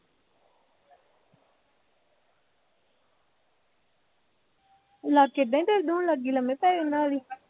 ਲਾਗੇ ਬਹਿ ਗਏ, ਦੋਵੇਂ ਲਾਗੇ ਲੰਮੇ ਪੈ ਜਾਉ ਨਾਲ ਹੀ